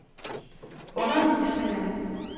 undervisningen